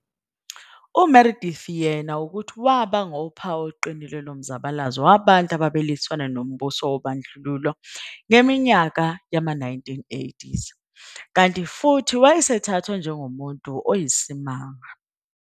UMeredith yena ukuthi waba ngophawu oluqinile lomzabalazo wabantu ababelwisana nombuso wobandlululo ngeminyaka yoma 1980, kanti futhi wayesethathwa njengomuntu oyisimanga.